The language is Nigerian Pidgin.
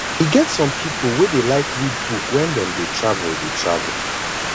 e get some pipo wey dey like read book wen dem dey travel dey travel